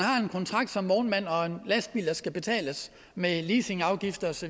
som vognmand og en lastbil der skal betales med leasingafgifter osv